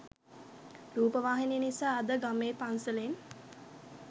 රූපවාහිනිය නිසා අද ගමේ පන්සලෙන්